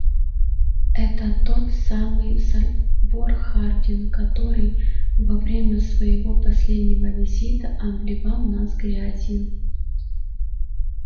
это тот самый сальвор хардин который во время своего последнего визита обливал нас грязью